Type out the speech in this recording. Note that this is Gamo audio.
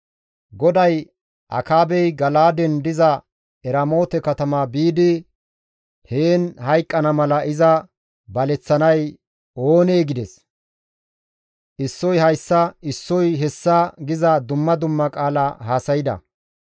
GODAY, ‹Akaabey Gala7aaden diza Eramoote katama biidi heen hayqqana mala iza baleththanay oonee?› gides. Issoy hayssa issoy hessa giza dumma dumma qaala haasayda.